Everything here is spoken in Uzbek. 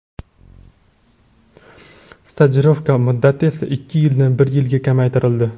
Stajirovka muddati esa ikki yildan bir yilga kamaytirildi.